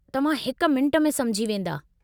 तव्हां हिकु मिंटु में समुझी वेंदा।